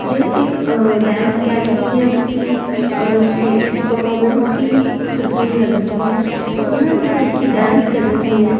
यह एक अ डांस एकेडमी या किसी अ परफॉर्मेंस की तस्वीर की लग रही है यहाँ एक लड़की डांस कर रही है।